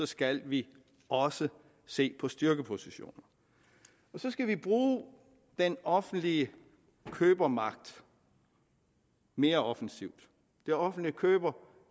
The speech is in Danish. skal vi også se på styrkepositioner så skal vi bruge den offentlige købermagt mere offensivt det offentlige køber